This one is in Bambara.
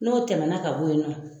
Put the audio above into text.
N'o tɛmɛna ka bɔ yen nɔ,